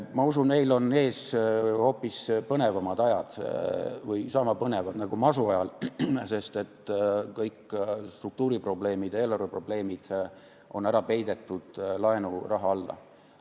Ma usun, et meil on ees hoopis põnevamad ajad või niisama põnevad ajad nagu masu ajal, sest kõik struktuuri ja eelarve probleemid on ära peidetud laenuraha alla.